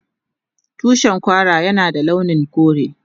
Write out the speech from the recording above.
Tushin Kwara Yana da launin kore.